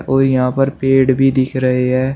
औ यहाँ पर पेड़ भी दिख रहे है।